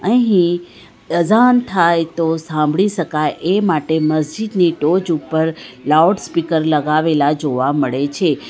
અહીં અઝાન થાય તો સાંભળી શકાય એ માટે મસ્જિદની ટોચ ઉપર લાઉડ સ્પીકર લગાવેલા જોવા મળે છે.